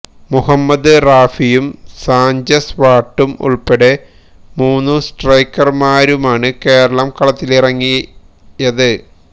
മുഹമ്മദ് റാഫിയും സാഞ്ചസ് വാട്ടും ഉള്പ്പടെ മൂന്ന് സ്ട്രൈക്കര്മാരുമാണ് കേരളം കളത്തിലിറങ്ങിയത്